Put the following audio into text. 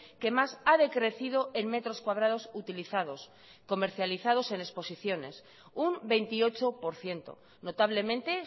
que más ha decrecido en metros cuadrados utilizados comercializados en exposiciones un veintiocho por ciento notablemente